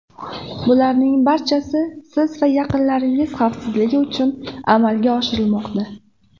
Bularning barchasi siz va yaqinlaringiz xavfsizligi uchun amalga oshirilmoqda.